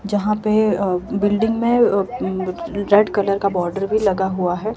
जहां पे बिल्डिंग में रेड कलर का बॉडर भी लगा हुआ हैं।